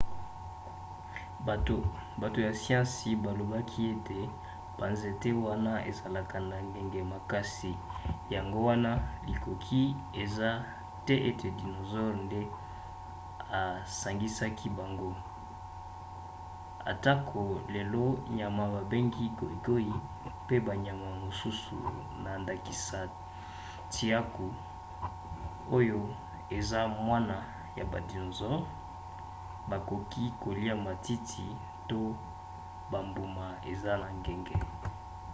bato ya siansi balobaka ete banzete wana ezalaka na ngenge makasi yango wana likoki eza te ete dinosaure nde esangisaki bango atako lelo nyama babengi goigoi mpe banyama mosusu na ndakisa tiaku oyo eza mwana ya ba dinosaures bakoki kolia matiti to bambuma eza na ngenge